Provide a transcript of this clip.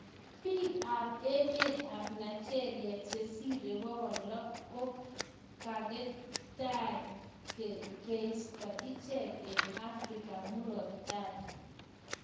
Piik AP emeet ap Nigeria chesiree pokol loo ko kaketai keistaa icheek eng afrika Murat tai